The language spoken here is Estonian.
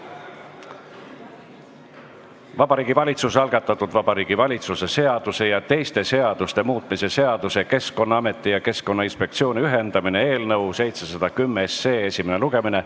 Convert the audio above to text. Vabariigi Valitsuse algatatud Vabariigi Valitsuse seaduse ja teiste seaduste muutmise seaduse eelnõu esimene lugemine.